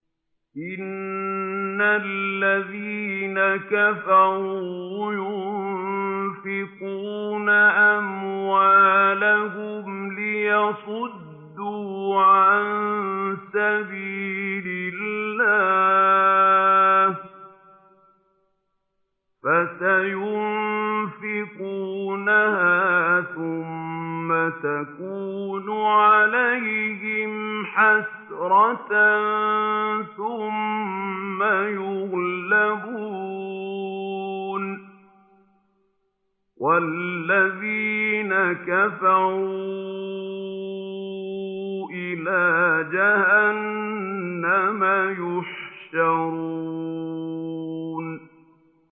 إِنَّ الَّذِينَ كَفَرُوا يُنفِقُونَ أَمْوَالَهُمْ لِيَصُدُّوا عَن سَبِيلِ اللَّهِ ۚ فَسَيُنفِقُونَهَا ثُمَّ تَكُونُ عَلَيْهِمْ حَسْرَةً ثُمَّ يُغْلَبُونَ ۗ وَالَّذِينَ كَفَرُوا إِلَىٰ جَهَنَّمَ يُحْشَرُونَ